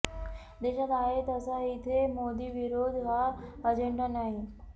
देशात आहे तसा इथे मोदीविरोध हा अजेंडा नाही